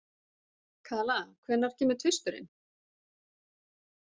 Kala, hvenær kemur tvisturinn?